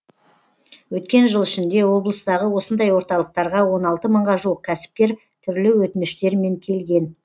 өткен жыл ішінде облыстағы осындай орталықтарға он алты мыңға жуық кәсіпкер түрлі өтініштермен келген